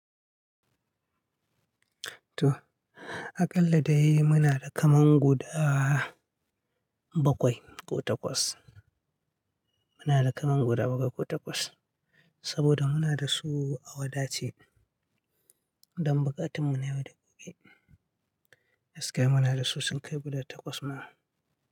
To, aƙalla dai muna da kaman guda bakwai ko takwas. Muna da kaman guda bakwai ko takwas saboda muna da su a wadace don buƙatun mu na yau da gobe. Gaskiya muna da su sun kai guda takwas ma.